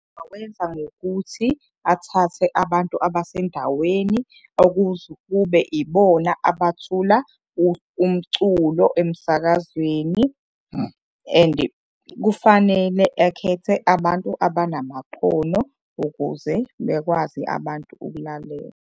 Engakwenza ngokuthi athathe abantu abasendaweni okuze kube ibona abathula umculo emsakazweni and kufanele akhethe abantu abanamakhono ukuze bekwazi abantu ukulalela.